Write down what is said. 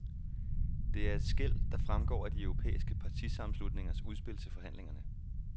Det er et skel, der fremgår af de europæiske partisammenslutningers udspil til forhandlingerne.